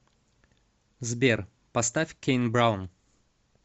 сбер поставь кейн браун